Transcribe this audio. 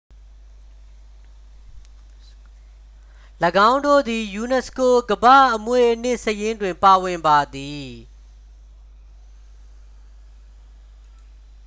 ၎င်းတို့သည် ယူနက်စကို ကမ္ဘာ့အမွေအနှစ်စာရင်းတွင် ပါဝင်ပါသည်